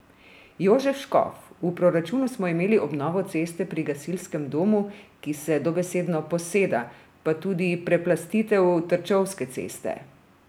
Jožef Škof: "V proračunu smo imeli obnovo ceste pri gasilskem domu, ki se dobesedno poseda, pa tudi preplastitev Trčovske ceste.